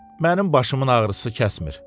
Mənim başımın ağrısı kəsmir.